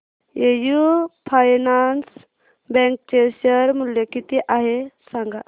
AU finance bank चे share मूल्य किती आहे सांगा